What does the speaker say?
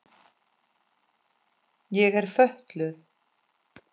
Ég er fötluð.